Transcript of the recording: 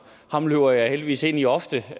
ham løber jeg heldigvis ind i ofte